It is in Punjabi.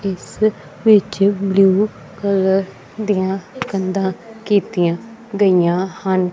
ਇੱਸ ਵਿੱਚ ਬਲੂ ਕਲਰ ਦਿਆਂ ਕੰਧਾਂ ਕੀਤੀਆਂ ਗਈਆਂ ਹਨ।